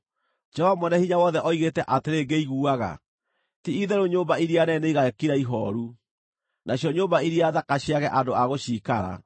Jehova Mwene-Hinya-Wothe oigĩte atĩrĩ ngĩiguaga: “Ti-itherũ nyũmba iria nene nĩigakira ihooru, nacio nyũmba iria thaka ciage andũ a gũciikara.